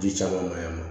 Ji caman ma yan nɔ